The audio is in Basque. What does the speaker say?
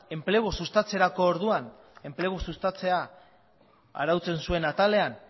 enplegua sustatzea arautzen zuen atalean